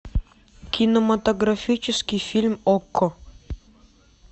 кинематографический фильм окко